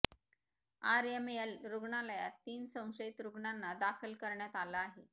RML रुग्णालयात तीन संशयित रुग्णांना दाखल करण्यात आलं आहे